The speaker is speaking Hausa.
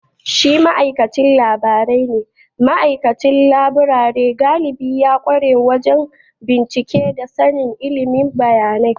Shi ma’aikacin laburare ne, ma’aikacin laburare galibi ya kware wajen bincike da sanin ilimin bayanai.